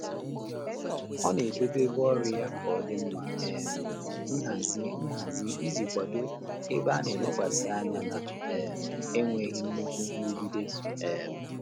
Ọ́ nà-édòbé ébé ọ́rụ́ yá kà ọ́ dị́ um nhàzị́ nhàzị́ ìjí kwàdò ébé á nà-élékwàsị́ ányá nà um énwéghị́ nnúkú nrụ́gídé. um